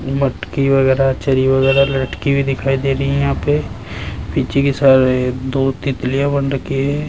मटकी वगैरा चरी वगैरा लटकी हुई दिखाई दे रही है यहां पे पीछे के साइड दो तितलियां बन रखी है।